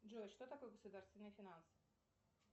джой что такое государственные финансы